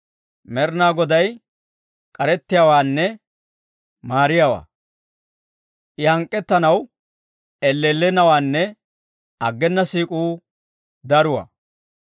Med'inaa Goday k'arettiyaawaanne maariyaawaa; I hank'k'ettanaw elleellennawaanne aggena siik'uu daruwaa.